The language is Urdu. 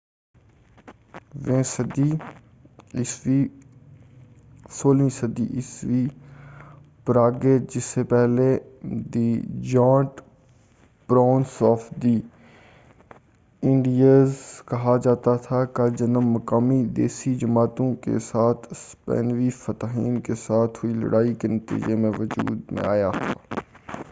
16ویں صدی عیسوی پراگوے جسے پہلے the giant province of the Indies کہا جاتا تھا کا جنم مقامی دیسی جماعتوں کے ساتھ اسپینی فاتحین کے ساتھ ہوئی لڑائی کے نتیجہ میں وجود میں آیا تھا